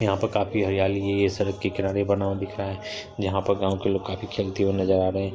यहां पर काफी हरियाली है यह सड़क के किनारे बना हुआ है यहां पर गांव के लोग काफी खेलते हुए नजर आ रहे हैं।